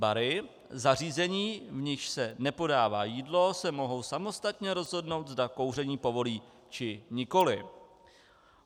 bary - zařízení, v nichž se nepodává jídlo, se mohou samostatně rozhodnout, zda kouření povolí, či nikoliv.